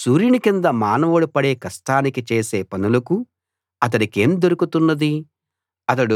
సూర్యుని కింద మానవుడు పడే కష్టానికీ చేసే పనులకూ అతడికేం దొరుకుతున్నది